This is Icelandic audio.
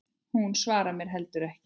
Hún svarar mér heldur ekki.